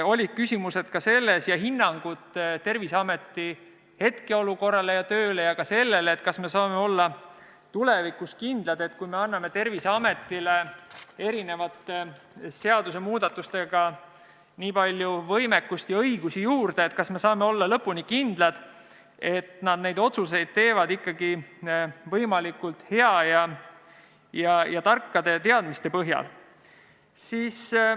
Oli küsimusi ja hinnanguid Terviseameti hetkeolukorra ja töö kohta ja ka selle kohta, et kui me anname Terviseametile seadusemuudatustega nii palju võimekust ja õigusi juurde, siis kas me saame olla lõpuni kindlad, et nad neid otsuseid teevad võimalikult heade ja tarkade teadmiste põhjal.